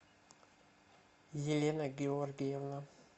елена георгиевна